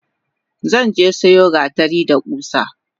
Zanje siyo gatari da kusa.